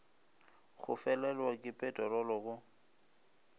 go felelwa ke peterolo go